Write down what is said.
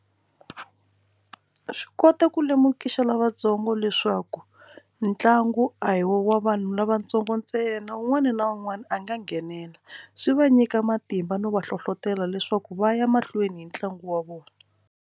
Swi kota ku lemukisa lavatsongo leswaku ntlangu a hi wa vanhu lavatsongo ntsena wun'wana na wun'wana a nga nghenela swi va nyika matimba no va hlohlotelo leswaku va ya mahlweni hi ntlangu wa vona.